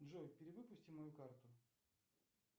джой перевыпусти мою карту